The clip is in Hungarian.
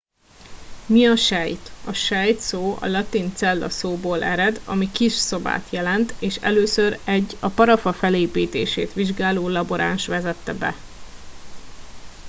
"mi a sejt? a sejt szó a latin "cella" szóból ered ami "kis szobát" jelent és először egy a parafa felépítését vizsgáló laboráns vezetett be.